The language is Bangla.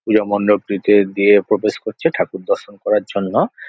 পূজা মণ্ডপটিতে দিয়ে প্রবেশ করছে ঠাকুর দর্শন করার জন্য।